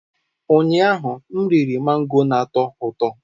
Ụnyaahụ, m riri mango na-atọ ụtọ.